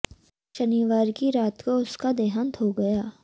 शनिवार की रात को उनका देहांत हो गया